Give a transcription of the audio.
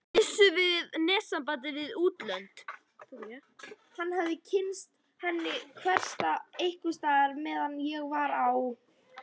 Missum við netsamband við útlönd?